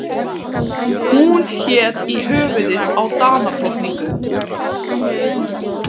Hún hét í höfuðið á Danadrottningu.